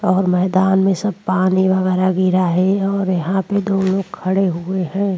और मैदान में सब पानी वगैरह गिरा है और यहां प दो लोग खड़े हुए हैं।